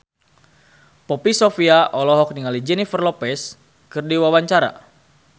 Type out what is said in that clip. Poppy Sovia olohok ningali Jennifer Lopez keur diwawancara